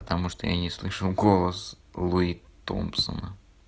потому что я не слышу голос луи томпсона